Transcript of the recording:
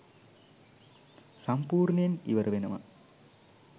සම්පූර්ණයෙන් ඉවර වෙනවා